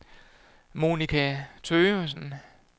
Monica Thøgersen